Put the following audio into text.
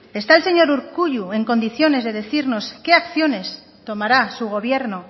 está el señor urkullu en condiciones de decirnos qué acciones tomará su gobierno